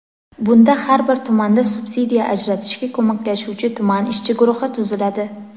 Bunda har bir tumanda subsidiya ajratishga ko‘maklashuvchi tuman ishchi guruhi tuziladi.